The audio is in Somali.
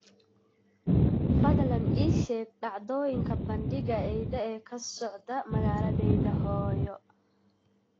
fadlan ii sheeg dhacdooyinka bandhiga eyda ee ka socda magaaladayda hooyo